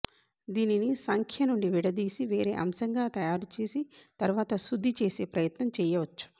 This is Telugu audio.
దీనిని సంఖ్య నుండి విడదీసి వేరే అంశంగా తయారు చేసి తరువాత శుద్ధి చేసే ప్రయత్నం చెయ్యవచ్చు